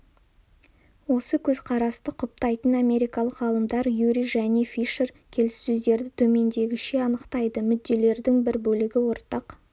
осы көзқарасты құптайтын америкалық ғалымдар юри және фишер келіссөздерді төмендегіше анықтайды мүдделердің бір бөлігі ортақ